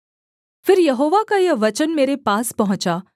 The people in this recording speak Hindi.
फिर यहोवा का यह वचन मेरे पास पहुँचा